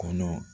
Kɔnɔ